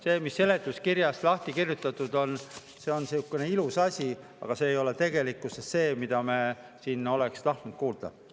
See, mis on seletuskirjas lahti kirjutatud, on sihuke ilus asi, aga see ei ole tegelikkuses see, mida me siin oleksime tahtnud kuulda.